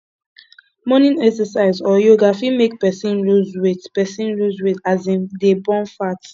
morning exercise or yoga fit make person loose weight person loose weight as im dey burn fat